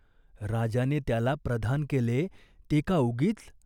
राजाने त्याला प्रधान केले, ते का उगीच ?